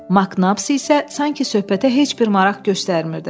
Maknab isə sanki söhbətə heç bir maraq göstərmirdi.